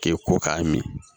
K'e ko k'a min